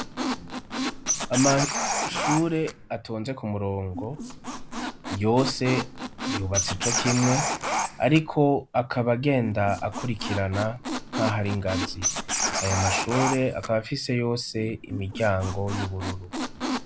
Amashure atonze ku murongo, yose yubatse co kimwe ariko akaba agenda akurikirana nk'aho ari ingazi. Ayo mashure akaba afise yose imiryango y'ubururu.